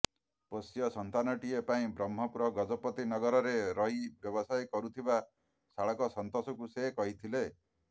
ପୋଷ୍ୟ ସନ୍ତାନଟିଏ ପାଇଁ ବ୍ରହ୍ମପୁର ଗଜପତିନଗରରେ ରହି ବ୍ୟବସାୟ କରୁଥିବା ଶାଳକ ସନ୍ତୋଷଙ୍କୁ ସେ କହିଥିଲେ